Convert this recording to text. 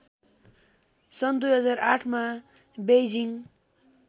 सन् २००८मा बेइजिङ